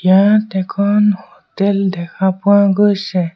ইয়াত এখন হোটেল দেখা পোৱা গৈছে।